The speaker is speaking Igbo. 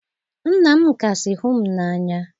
Nna m kasị hụ m n'anya